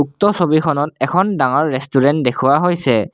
উক্ত ছবিখনত এখন ডাঙৰ ৰেষ্টুৰেণ্ট দেখুৱা হৈছে।